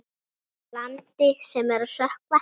Landi sem er að sökkva.